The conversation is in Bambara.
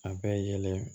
A bɛ yɛlɛ